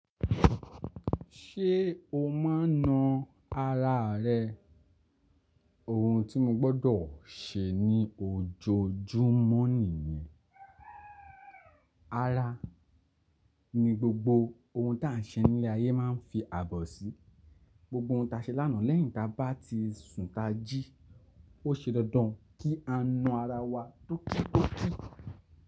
Ṣé o máa na ara rẹ? Ohun tí mo gbọ́dọ̀ ṣe ni ojoojúmọ́ nìyẹn. Ara ni gbogbo ohun táa ń ṣe nílé ayé máa ń fi àbọ̀ sí. Gbogbo ohun ta ṣe lánàá lẹ́yìn táa bá ti sùn tá jí, ó ṣe dandan kí á na ara wa tókítókí.